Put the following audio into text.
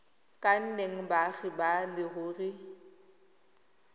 ka nnang baagi ba leruri